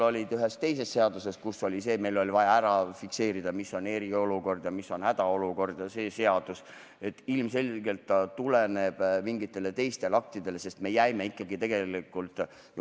Ühes teises seaduses oli meil vaja fikseerida, mis on eriolukord ja mis on hädaolukord, ja ilmselgelt tuleb siin tugineda mingitele teistele aktidele.